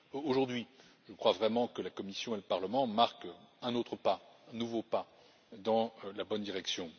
Aujourd'hui, je crois vraiment que la Commission et le Parlement marquent un autre pas un nouveau pas dans la bonne direction.